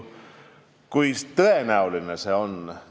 Kui tõenäoline see on?